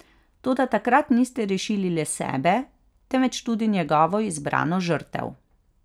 Toda takrat niste rešili le sebe, temveč tudi njegovo izbrano žrtev.